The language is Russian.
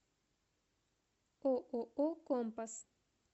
ооо компас